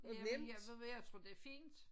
Jamen jeg ved du hvad jeg tror det er fint